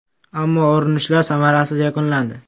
Ammo urunishlar samarasiz yakunlandi.